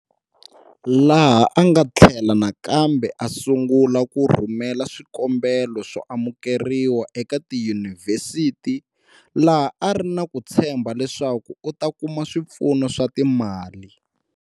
Laha a nga tllhela nakambe a sungula ku rhumela swikombelo swo amukeriwa eka tiyunivhesiti laha a ri na ku tshembha leswaku u ta kuma swipfuno swa timali.